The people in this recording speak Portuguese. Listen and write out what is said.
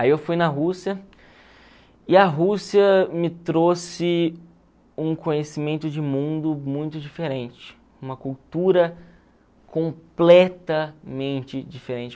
Aí eu fui na Rússia e a Rússia me trouxe um conhecimento de mundo muito diferente, uma cultura completamente diferente.